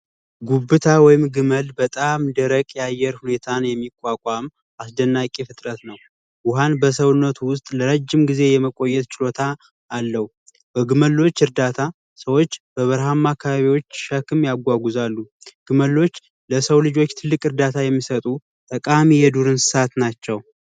ጉብታ ወይም ግመል በጣም ደረቅ ያየር ሁኔታን የሚቋቋም አስደናቂ ፍጥረት ነው ውሃን በሰውነት ውስጥ ለረጅም ጊዜ የመቆየት ችሎታ እግመሎች እርዳታ ሰዎች በረሃማ አካባቢዎች ሸክም ያጓዛሉ ግመሎች ለሰው ልጆች ትልቅ እርዳታ የሚሰጡ ጠቃሚ የዱር እንስሳት ናቸው